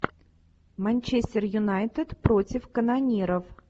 манчестер юнайтед против канониров